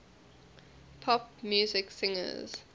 pop music singers